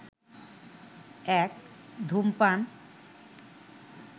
১. ধূমপান